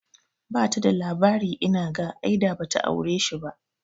Bata da labari inaga, ai da bata aure shi ba